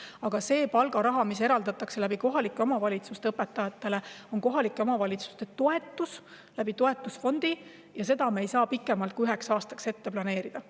Aga see palgaraha, mis kohalike omavalitsuste kaudu õpetajatele eraldatakse, on toetus kohalikele omavalitsustele toetusfondi kaudu ja seda me ei saa ette planeerida pikemaks ajaks kui üheks aastaks.